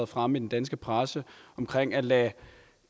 fremme i den danske presse omkring at lade